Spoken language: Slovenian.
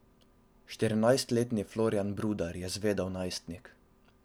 Štirinajstletni Florjan Brudar je zvedav najstnik.